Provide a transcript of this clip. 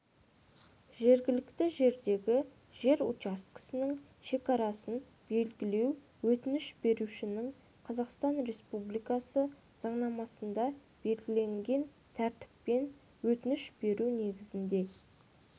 жергілікті жердегі жер учаскесінің шекарасын белгілеу өтініш берушінің қазақстан республикасы заңнамасында белгіленген тәртіппен өтініш беруі негізінде